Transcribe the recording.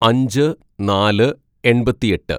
"അഞ്ച് നാല് എണ്‍പത്തിയെട്ട്‌